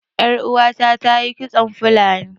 Ƴar uwata ta yi kitson fulani